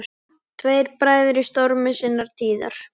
Tveir bræður í stormi sinnar tíðar.